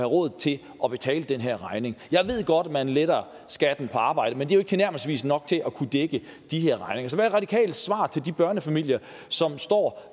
råd til at betale den her regning jeg ved godt man letter skatten på arbejde men det er ikke tilnærmelsesvis nok til at kunne dække de her regninger så hvad er radikales svar til de børnefamilier som står